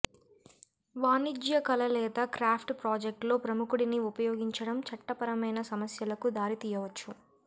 వాణిజ్య కళ లేదా క్రాఫ్ట్ ప్రాజెక్ట్లో ప్రముఖుడిని ఉపయోగించడం చట్టపరమైన సమస్యలకు దారి తీయవచ్చు